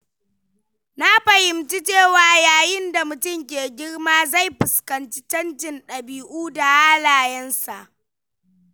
Na fahimci cewa yayin da mutum ke girma, zai fuskanci canjin ɗabi'u da halayensa.